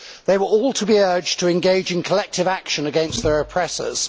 They were all to be urged to engage in collective action against their oppressors.